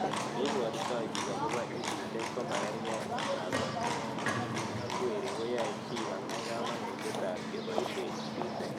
Ole pwotitoi pik akopo EdYech komakarkei ako eng'tipik ak werik koyae chii konai kamanutiet ab kepoishe EdTech